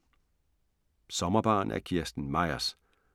Sommerbarn af Kirsten Myers